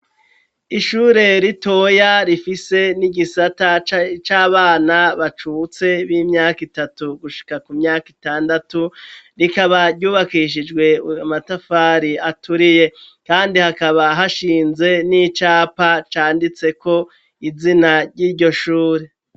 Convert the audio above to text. Ishure ritoya rifise n'igisata c'abana bacutse b'imyaka itatu gushika ku myaka itandatu, rikaba ryubakishijwe amatafari aturiye kandi hakaba hashinze n'icapa canditseko izina ry'iryo shure.